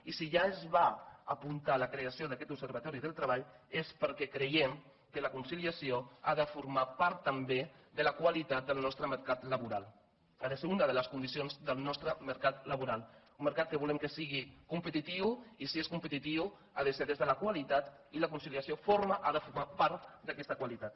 i si ja es va apuntar la creació d’aquest observatori del treball és perquè creiem que la conciliació ha de formar part també de la qualitat del nostre mercat laboral ha de ser una de les condicions del nostre mercat laboral un mercat que volem que sigui competitiu i si és competitiu ha de ser des de la qualitat i la conciliació forma ha de formar part d’aquesta qualitat